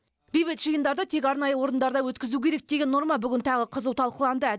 бейбіт жиындарды тек арнайы орындарда өткізу керек деген норма бүгін тағы қызу талқыланды